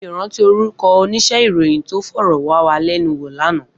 Mi ó ràntí órúkò óníṣè iróyin tó fòròwàwálènúwó làná